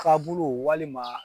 Kabulu walima.